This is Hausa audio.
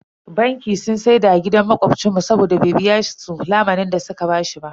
Banki sun siyar da gidan makobcin mu saboda bai biya su lamunin da su ka bashi ba.